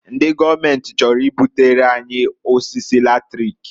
Ndị gọọmenti chọrọ ibutere anyị osisi latrik.